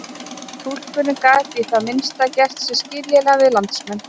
Túlkurinn gat í það minnsta gert sig skiljanlegan við landsmenn.